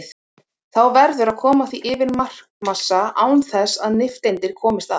Þá verður að koma því yfir markmassa án þess að nifteindir komist að.